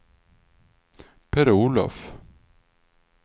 Per-Olof